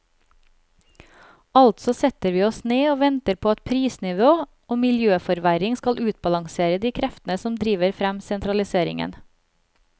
Altså setter vi oss ned og venter på at prisnivå og miljøforverring skal utbalansere de kreftene som driver frem sentraliseringen.